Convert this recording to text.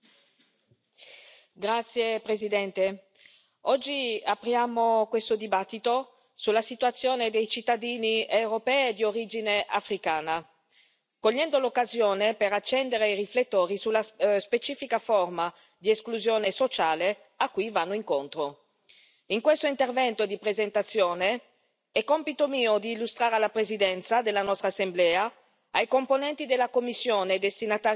Signor Presidente, onorevoli colleghi, oggi apriamo questo dibattito sulla situazione dei cittadini europei di origine africana cogliendo l'occasione per accendere i riflettori sulla specifica forma di esclusione sociale a cui vanno incontro. In questo intervento di presentazione, è mio compito illustrare alla Presidenza della nostra Assemblea, ai componenti della Commissione, destinataria dell'interrogazione,